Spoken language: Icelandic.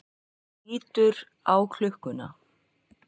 Lítur á klukkuna.